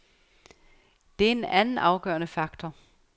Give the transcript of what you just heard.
Det er en anden afgørende faktor.